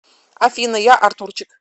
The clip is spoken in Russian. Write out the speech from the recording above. афина я артурчик